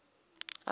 orange